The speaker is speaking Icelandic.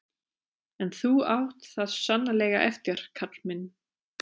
En þú átt það sannarlega eftir, kall minn.